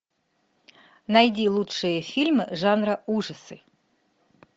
найди лучшие фильмы жанра ужасы